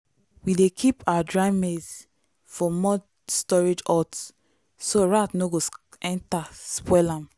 we dey keep our dry maize for mud storage hut so rat no go enter spoil am.